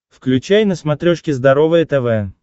включай на смотрешке здоровое тв